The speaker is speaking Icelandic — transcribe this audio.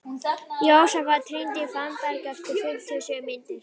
Jósafat, hringdu í Fannberg eftir fimmtíu og sjö mínútur.